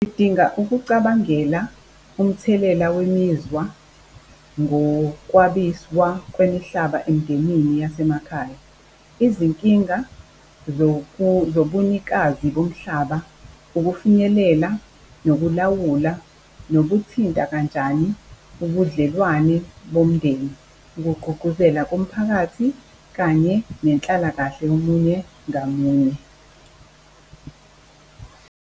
Sidinga ukucabangela umthelela wemizwa ngokwabiswa kwemihlaba emindenini yasemakhaya, izinkinga zobunikazi bomhlaba, ukufinyelela nokulawula, nokuthinta kanjani ubudlelwane bomndeni, ukugqugquzela komphakathi kanye nenhlalakahle yomunye ngamunye.